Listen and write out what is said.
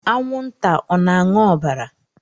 Anwụnta ọ na-aṅụ ọbara?